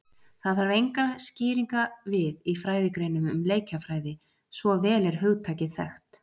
Það þarf engra skýringa við í fræðigreinum um leikjafræði, svo vel er hugtakið þekkt.